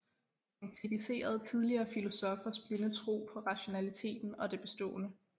Han kritiserede tidligere filosoffers blinde tro på rationaliteten og det bestående